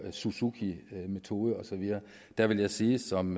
og suzukimetoden og så videre vil jeg sige som